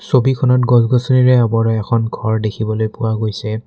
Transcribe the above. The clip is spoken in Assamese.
ছবিখনত গছ গছনিৰে আৱৰা এখন ঘৰ দেখিবলৈ পোৱা হৈছে।